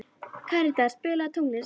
Karítas, spilaðu tónlist.